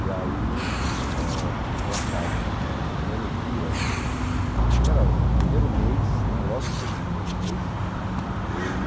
E aí ãh foi engraçado né, porque no primeiro dia, na primeira, assim, no primeiro mês né, logo depois do primeiro mês, ele...